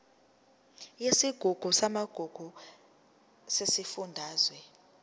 yesigungu samagugu sesifundazwe